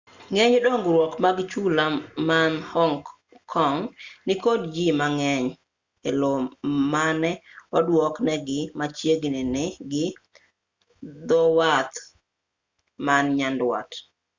ng'eny dongruok mag chula man hong kong nikod jii mang'eny e lo mane oduok negi machiegini gi dhowath man nyandwat